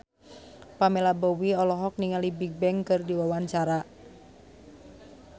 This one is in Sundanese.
Pamela Bowie olohok ningali Bigbang keur diwawancara